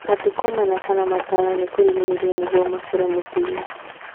Matukũ mana kana matano ma kũrigĩrĩria nĩguo makũre mũtĩ-inĩ